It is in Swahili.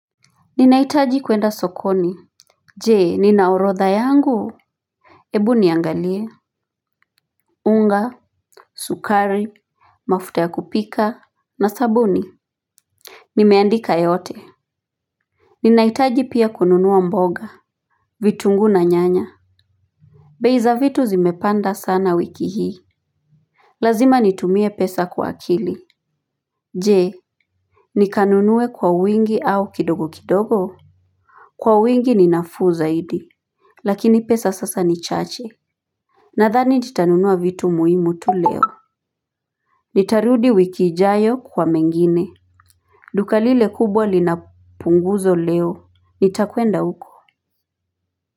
Ninahitaji kwenda sokoni. Jee nina orodha yangu hebu niangalie. Unga Sukari Mafuta ya kupika na sabuni. Nimeandika yote. Ninahitaji pia kununua mboga. Vitunguu na nyanya bei za vitu zimepanda sana wiki hii. Lazima nitumie pesa kwa akili. Jee nikanunue kwa wingi au kidogo kidogo. Kwa wingi ninafuu zaidi. Lakini pesa sasa ni chache. Nathani nitanunua vitu muhimu tu leo. Nitarudi wiki ijayo kwa mengine. Duka lile kubwa linapunguzo leo. Nitakwenda huko.